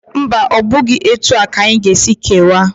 Mba, ọ bụghị etu a ka anyị ga-esi kewaa.